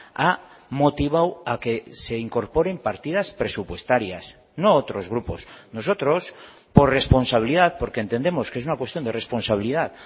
ha motivado a que se incorporen partidas presupuestarias no otros grupos nosotros por responsabilidad porque entendemos que es una cuestión de responsabilidad